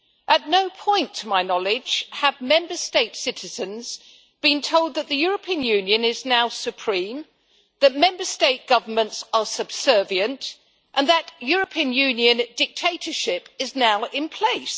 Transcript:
At no point, to my knowledge, have Member State citizens been told that the European Union is now supreme, that Member State governments are subservient and that European Union dictatorship is now in place.